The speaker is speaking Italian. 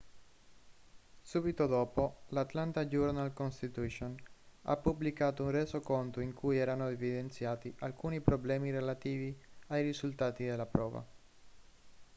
subito dopo l'atlanta journal-constitution ha pubblicato un resoconto in cui erano evidenziati alcuni problemi relativi ai risultati della prova